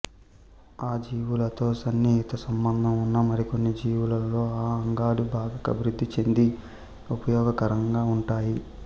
ఆ జీవులతో సన్నిహిత సంబంధం ఉన్న మరికొన్ని జీవులలో ఈ అంగాలు బాగా అభివృద్ధి చెంది ఉపయోగకరంగా ఉంటాయి